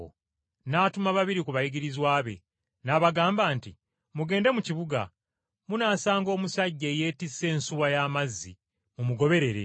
N’atuma babiri ku bayigirizwa be, n’abagamba nti, “Mugende mu kibuga munaasanga omusajja eyeetisse ensuwa y’amazzi, mumugoberere.